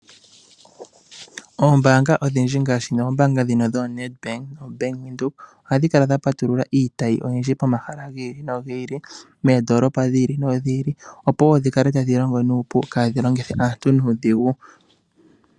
Oombaanga odhindji ngaashi oombaabga ndhino dhooNedbank Bank Widhoek, ohadhi kala dha patulula iitayi oyindji pomahala gi ili nogi ili. Moondoolopa dhi ili nodhi ili, opo wo dhikale tadhi longo nuupu kaadhi longithe aantu nuudhigu.